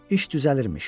İş düzəlirmiş.